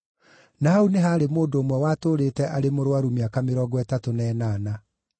Na hau nĩ haarĩ mũndũ ũmwe watũũrĩte arĩ mũrũaru mĩaka mĩrongo ĩtatũ na ĩnana.